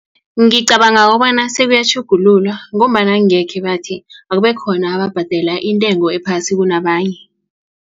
Ngicabanga kobana sebuyatjhugululwa ngombana angekhe bathi akubekhona ababhadela intengo ephasi kunabanye.